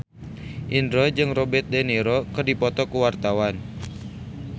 Indro jeung Robert de Niro keur dipoto ku wartawan